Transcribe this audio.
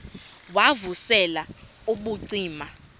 wav usel ubucima